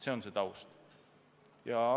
See on see taust.